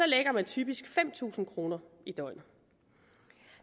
lægger man typisk fem tusind kroner i døgnet